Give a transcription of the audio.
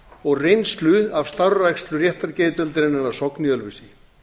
og reynslu af starfrækslu réttargeðdeildarinnar að sogni í ölfusi